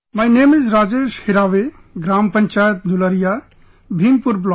My name is Rajesh Hiraawe, Gram Panchayat Dulariya, Bhimpur Block